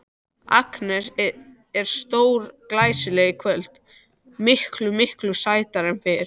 Agnes er stórglæsileg í kvöld, miklu, miklu sætari en fyrr.